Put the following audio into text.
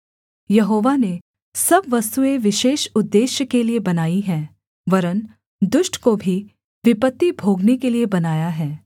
यहोवा ने सब वस्तुएँ विशेष उद्देश्य के लिये बनाई हैं वरन् दुष्ट को भी विपत्ति भोगने के लिये बनाया है